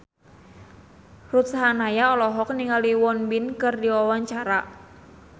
Ruth Sahanaya olohok ningali Won Bin keur diwawancara